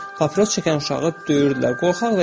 O vaxtlar papiros çəkən uşağı döyürdülər.